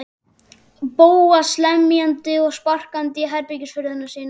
Bóas lemjandi og sparkandi í herbergishurðina sína.